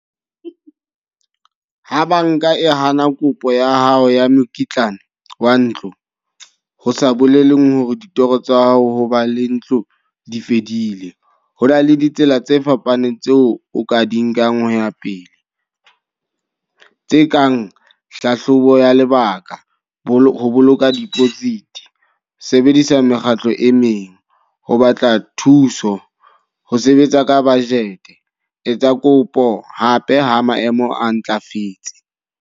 Ha banka e hana kopo ya hao ya mokitlane wa ntlo. Ho sa bolele hore ditoro tsa hao ho ba le ntlo di fedile. Ho na le ditsela tse fapaneng tseo o ka di nkang ho ya pele. Tse kang hlahlobo ya lebaka, bolo boloka deposit, sebedisa mekgatlo e meng, ho batla thuso, ho sebetsa ka budget. E tsa kopo hape ha maemo a ntlafetse.